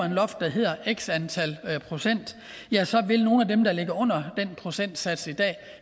et loft der hedder x antal procent ja så vil nogle af dem der ligger under den procentsats i dag